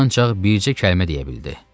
O ancaq bircə kəlmə deyə bildi.